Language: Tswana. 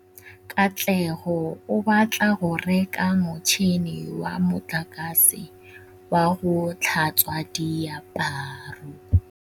Katlego o batla go reka motšhine wa motlakase wa go tlhatswa diaparo.